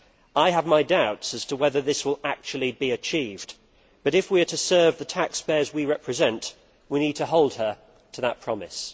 I have my doubts as to whether that will actually be achieved, but if we are to serve the taxpayers we represent, we need to hold her to that promise.